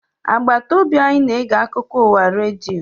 Agbata obi anyị na-ege akụkọ ụwa redio